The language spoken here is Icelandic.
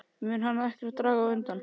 Mun hann þá ekkert draga undan?